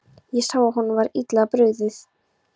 Ég sá að honum var illa brugðið.